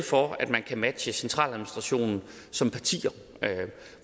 for at man kan matche centraladministrationen som parti